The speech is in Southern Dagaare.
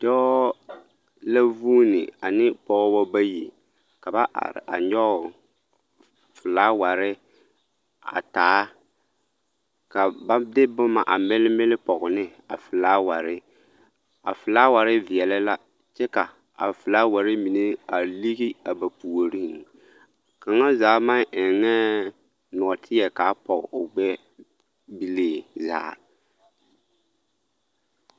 Dɔɔ la vuuni ane pɔgebɔ bayi ka ba are a nyɔge felaaware a taa ka ba de boma a mele mele pɔge ne a felaaware, a felaaware veɛlɛ la kyɛ ka a felaaware mine a ligi a ba puoriŋ kaŋa zaa maŋ ennɛɛ nɔɔteɛ k'a pɔge o gbɛɛ bilii zaa.